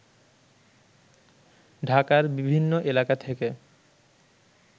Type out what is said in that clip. ঢাকার বিভিন্ন এলাকা থেকে